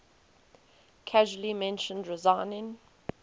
casually mentioned resigning